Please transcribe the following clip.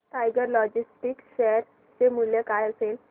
tiger Logistics share चे मूल्य काय असेल